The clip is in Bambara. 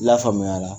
Lafaamuya la